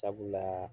Sabula